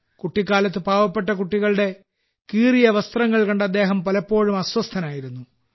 കുട്ടിക്കാലത്ത് പാവപ്പെട്ട കുട്ടികളുടെ കീറിയ വസ്ത്രങ്ങൾ കണ്ട് അദ്ദേഹം പലപ്പോഴും അസ്വസ്ഥനായിരുന്നു